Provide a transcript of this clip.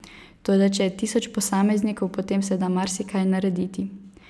Toda če je tisoč posameznikov, potem se da marsikaj narediti.